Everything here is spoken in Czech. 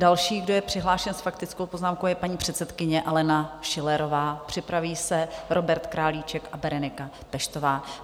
Další, kdo je přihlášen s faktickou poznámkou, je paní předsedkyně Alena Schillerová, připraví se Robert Králíček a Berenika Peštová.